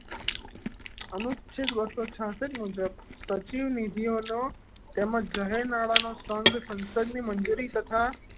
અનુચ્છેદ બસો છાસઠ મુજબ સચિવનિધિઓ નો તેમજ જાહેરનામા લાદવાનો સંઘ ક મંજૂરી તથા